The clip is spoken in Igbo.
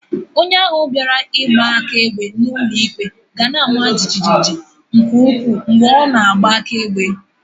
Onye ahu biara igba akaebe n'ulo ikpe gana-ama jijiji mgbe nke ukwu mgbe o na-agba akaebe.